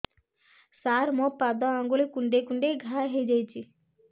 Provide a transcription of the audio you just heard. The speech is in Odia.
ସାର ମୋ ପାଦ ଆଙ୍ଗୁଳି କୁଣ୍ଡେଇ କୁଣ୍ଡେଇ ଘା ହେଇଯାଇଛି